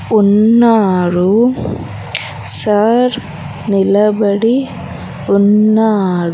ఉన్నారు సర్ నిలబడి ఉన్నారు.